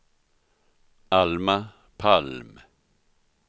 Alma Palm